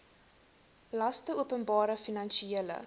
laste openbare finansiële